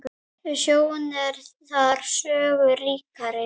Sjón er þar sögu ríkari.